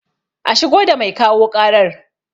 A shigo da mai kawo ƙarar